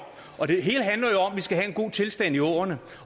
at vi skal have en god tilstand i åerne